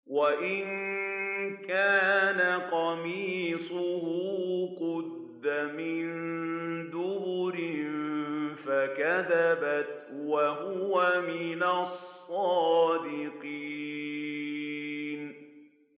وَإِن كَانَ قَمِيصُهُ قُدَّ مِن دُبُرٍ فَكَذَبَتْ وَهُوَ مِنَ الصَّادِقِينَ